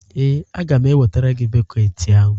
Ee, a ga m ewetara gị bọket ahụ.